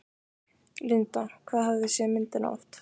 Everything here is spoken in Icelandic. Linda: Hvað hafið þið séð myndina oft?